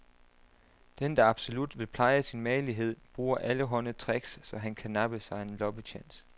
Den, der absolut vil pleje sin magelighed, bruger allehånde tricks, så han kan nappe sig en loppetjans.